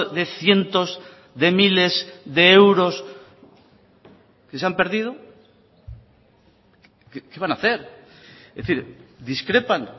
de cientos de miles de euros que ese han perdido qué van a hacer es decir discrepan